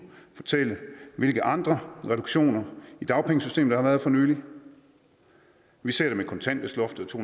fortælle hvilke andre reduktioner i dagpengesystemet der har været for nylig vi ser det med kontanthjælpsloftet og to